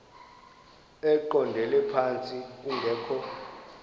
eqondele phantsi kungekho